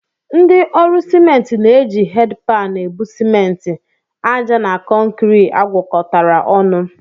Ndị ọrụ simenti na-eji hedịpan ebu simenti, àjà na kọnkịrị agwakọtara ọnụ